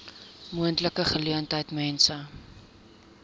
moontlike geleentheid mense